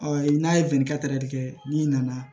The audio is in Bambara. n'a ye kɛ n'i nana